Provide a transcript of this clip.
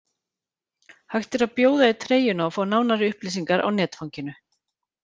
Hægt er að bjóða í treyjuna og fá nánari upplýsingar á netfanginu.